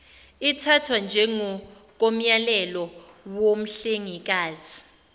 ithathwa njengokomyalelo womhlengikazi